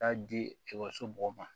Taa di ekɔliso mɔgɔw ma